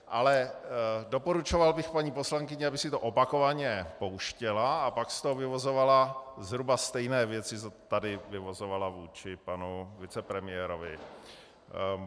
Ale doporučoval bych paní poslankyni, aby si to opakovaně pouštěla a pak z toho vyvozovala zhruba stejné věci, co tady vyvozovala vůči panu vicepremiérovi.